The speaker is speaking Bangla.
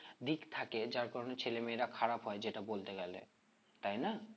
দিক থাকে যার কারণে ছেলে মেয়েরা খারাপ হয়ে যেটা বলতে গেলে তাই না